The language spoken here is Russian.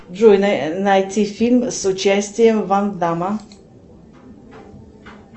джой найти фильм с участием ван дамма